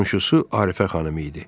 Qonşusu Arifə xanım idi.